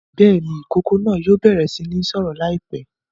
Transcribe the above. Bẹ́ẹ̀ ni, ìkókó náà yóò bẹ̀rẹ̀ sí ní sọ̀rọ̀ láìpẹ́.